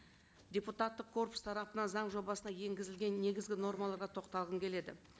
депутаттық корпус тарапынан заң жобасына енгізілген негізгі нормаларға тоқталғым келеді